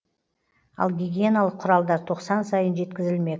ал гигиеналық құралдар тоқсан сайын жеткізілмек